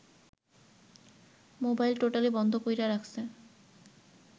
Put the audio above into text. mobile totally বন্ধ কইরা রাখসে